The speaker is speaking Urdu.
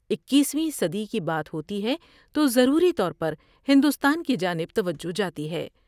اکیسویں صدی کی بات ہوتی ہے تو ضروری طور پر ہندوستان کی جانب توجہ جاتی ہے ۔